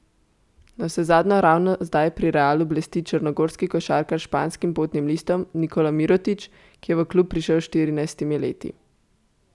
Navsezadnje ravno zdaj pri Realu blesti črnogorski košarkar s španskim potnim listom Nikola Mirotić, ki je v klub prišel s štirinajstimi leti.